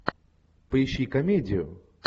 поищи комедию